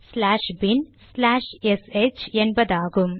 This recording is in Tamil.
ஸ்லாஷ் பின்bin ச்லாஷ் எஸ்ஹெச் என்பதாகும்